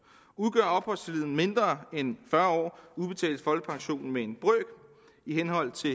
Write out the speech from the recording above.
udgør opholdstiden mindre end fyrre år udbetales folkepensionen med en brøk i henhold til